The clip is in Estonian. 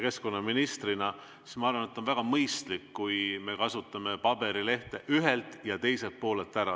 Ma arvan, et on väga mõistlik, kui me kasutame paberilehe ühe ja teise poole ära.